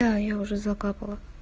да я уже закапала